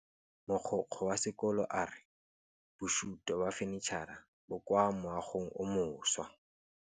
Mogokgo wa sekolo a re bosutô ba fanitšhara bo kwa moagong o mošwa.